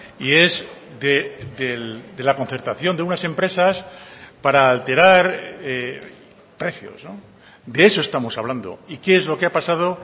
y es de la concertación de unas empresas para alterar precios de eso estamos hablando y qué es lo que ha pasado